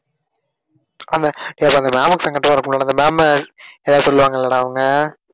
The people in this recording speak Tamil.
அந்த அஹ் வரக்கூடாது அந்த ma'am உ எதாவது சொல்லுவாங்களாடா அவங்க?